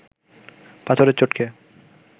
পাথরের চোট খেয়ে